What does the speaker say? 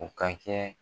O ka kɛ